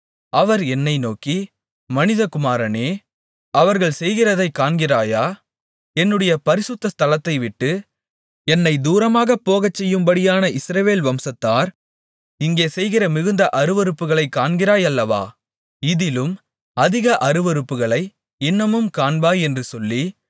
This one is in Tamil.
அவர் என்னை நோக்கி மனிதகுமாரனே அவர்கள் செய்கிறதைக் காண்கிறாயா என்னுடைய பரிசுத்த ஸ்தலத்தைவிட்டு என்னைத் தூரமாகப் போகச்செய்யும்படியான இஸ்ரவேல் வம்சத்தார் இங்கே செய்கிற மிகுந்த அருவருப்புகளைக் காண்கிறாய் அல்லவா இதிலும் அதிக அருவருப்புகளை இன்னமும் காண்பாய் என்று சொல்லி